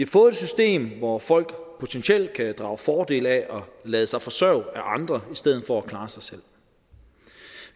fået et system hvor folk potentielt kan drage fordel af at lade sig forsørge af andre i stedet for at klare sig selv